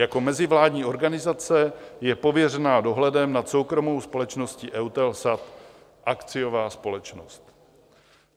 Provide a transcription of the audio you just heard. Jako mezivládní organizace je pověřena dohledem nad soukromou společností EUTELSAT, akciová společnost.